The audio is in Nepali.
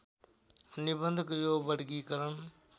निबन्धको यो वर्गीकरण